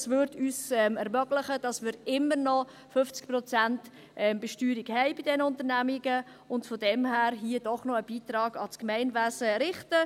Dies würde es uns ermöglich, dass wir bei diesen Unternehmen immer noch 50 Prozent Besteuerung haben und sie daher doch noch einen Beitrag an das Gemeinwesen richten.